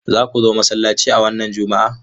Za ku zo masallaci a wannan Juma'a?